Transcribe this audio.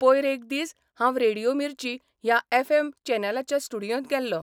पयर एक दीस हांव 'रेडियो मिर्ची 'ह्या एफ चॅनलाच्या स्टुडियोंत गेल्लों.